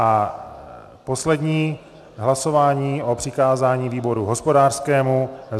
A poslední hlasování o přikázání výboru hospodářskému.